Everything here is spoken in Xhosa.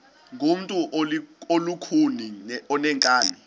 ngumntu olukhuni oneenkani